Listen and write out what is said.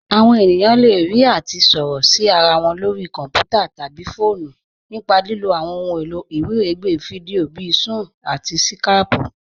Àwọn ènìyàn le rí àti sọ̀rọ̀ sí ara wọn lórí kọ̀nputà̀ tabí fọọ̀nù nípa lílò àwọn òhun èlò iwiregbè fídíò bíì Sún-ún àti Skáypù.